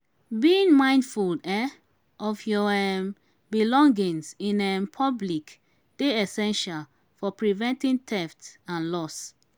being mindful um of your um belongings in um public dey essential for preventing theft and loss.